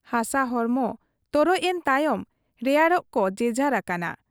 ᱦᱟᱥᱟ ᱦᱚᱲᱢᱚ ᱛᱚᱨᱚᱡ ᱮᱱ ᱛᱟᱭᱚᱢ ᱨᱮᱭᱟᱲᱚᱜ ᱠᱚ ᱡᱮᱡᱟᱦᱟᱨ ᱟᱠᱟᱱᱟ ᱾